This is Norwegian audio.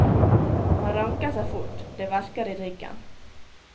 Han ranker seg fort, det verker i ryggen.